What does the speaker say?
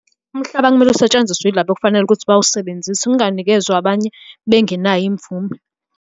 Umhlaba kumele usetshenziswe ilabo okufanele ukuthi bawusebenzise, unganikezwa abanye bengenayo imvume.